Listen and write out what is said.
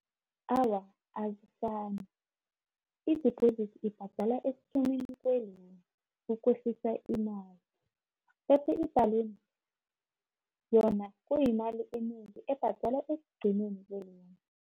Awa, azifani i-deposit ibhadalwa ekuthomeni ukwehlisa imali, bese i-ballon yona kuyimali enengi ebhadalwa ekugcineni